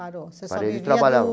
Parou. Parei de trabalhar.